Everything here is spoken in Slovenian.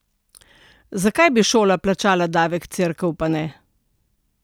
Zakaj bi šola plačala davek, cerkev pa ne?